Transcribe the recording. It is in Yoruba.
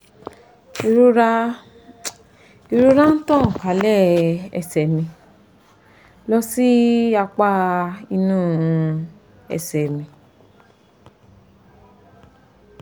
ìrora ń ìrora ń tàn kálẹ̀ ẹ̀sẹ̀ mi lọ sí apá inú ẹ̀sẹ̀ mi